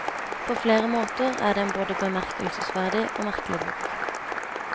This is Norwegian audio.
På flere måter er det en både bemerkelsesverdig og merkelig bok.